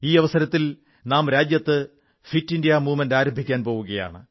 ഈ അവസരത്തിൽ നാം രാജ്യത്ത് ഫിറ്റ് ഇന്ത്യാ മൂവ്മെന്റ് ആരംഭിക്കാൻ പോകയാണ്